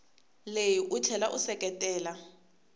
leyi u tlhela u seketela